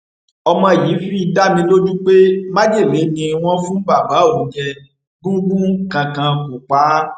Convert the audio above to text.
ọmọ yìí fi dá mi lójú pé májèlé ni wọn fún bàbá òun jẹ gúngún kankan kó pa á